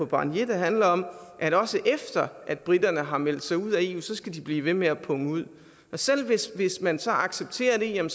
barnier der handler om at også efter at briterne har meldt sig ud af eu skal de blive ved med at punge ud selv hvis hvis man så accepterer